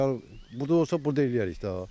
Yəni burda olsa burda eləyərik də.